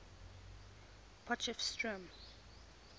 potchefstroom